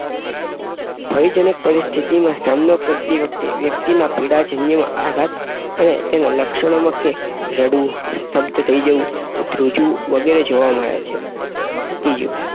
ભયજનક પરિસ્થિતિનો સામનો કરતી વખતે વ્યક્તિમાં પીડાજન્ય આધાતના અને તેના લક્ષણોનો કે રડવું, સ્તબ્ધ થઈ જવું, ધ્રુજવું વગેરે જોવા મળે. ત્રીજું